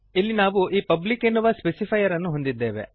ಇಲ್ಲಿ ನಾವು ಈ ಪಬ್ಲಿಕ್ ಎನ್ನುವ ಸ್ಪೆಸಿಫೈಯರನ್ನು ಹೊಂದಿದ್ದೇವೆ